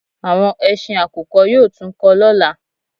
Àwọn ẹsin àkùkọ yóò tún kọ lọ́la